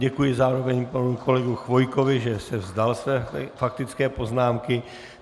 Děkuji zároveň panu kolegovi Chvojkovi, že se vzdal své faktické poznámky.